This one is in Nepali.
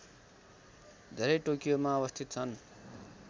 धेरै टोकियोमा अवस्थित छन्